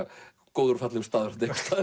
góður og fallegur staður einhvers staðar